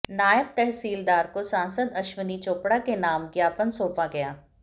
नायब तसहीलदार को सांसद अश्विनी चोपड़ा के नाम ज्ञापन सौंपा गया